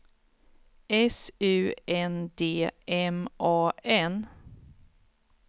S U N D M A N